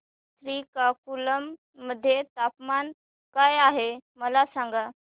श्रीकाकुलम मध्ये तापमान काय आहे मला सांगा